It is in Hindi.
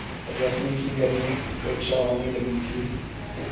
रश्मि की घर में उपेक्षा होने लगी थी